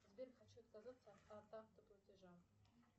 сбер хочу отказаться от автоплатежа